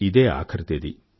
ఇదే ఆఖరు తేదీ